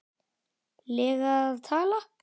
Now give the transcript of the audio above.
lega að tala?